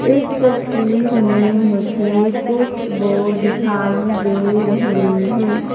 इस तस्वीर में मुझे कुछ बोर्ड दिखाई दे रहे हैं।